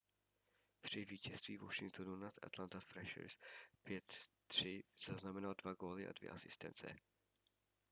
při vítězství washingtonu nad atlanta trashers 5-3 zaznamenal 2 góly a 2 asistence